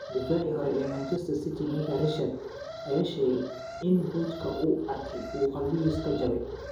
Daaficii hore ee Manchester City Micah Richards ayaa sheegay in boodhka uu arkay uu qalbigiisa ka jabay.